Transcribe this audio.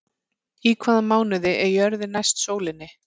Í hvaða mánuði er jörðin næst sólinni?